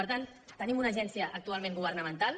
per tant tenim una agència actualment governamental